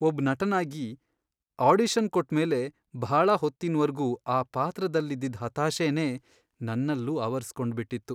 ಒಬ್ ನಟನಾಗಿ, ಆಡಿಷನ್ ಕೊಟ್ಮೇಲೆ ಭಾಳ ಹೊತ್ತಿನ್ವರ್ಗೂ ಆ ಪಾತ್ರದಲ್ಲಿದ್ದಿದ್ ಹತಾಶೆನೇ ನನ್ನಲ್ಲೂ ಆವರಿಸ್ಕೊಂಡ್ಬಿಟ್ಟಿತ್ತು.